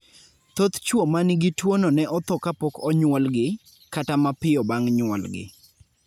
Thoth chwo ma nigi tuwono ne otho kapok onyuolgi, kata mapiyo bang' nyuolgi.